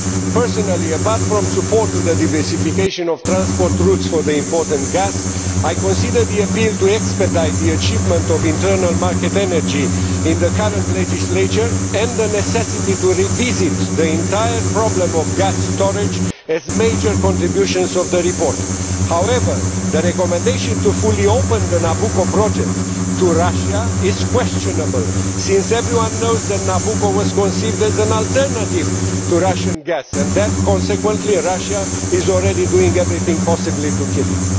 Personally, apart from support for the diversification of transport routes for the import of gas, I consider the appeal to expedite the achievement of internal market energy in the current legislature and the necessity to revisit the entire problem of gas storage as major contributions of the report. However, the recommendation to fully open the Nabucco project to Russia is questionable since everyone knows that Nabucco was conceived as an alternative to Russian gas and that, consequently, Russia is already doing everything possible to kill it.